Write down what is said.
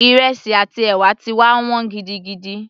Ìrẹsì àti ẹ̀wà ti wá wọ́n gidigidi